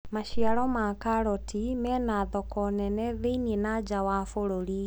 maciaro ma karoti mena thoko nene thi-inĩ na nja wa bururi